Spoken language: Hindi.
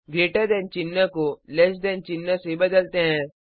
ग्रेटर दैन चिन्ह को लैस दैन चिन्ह से बदलते हैं